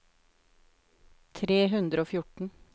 tre hundre og fjorten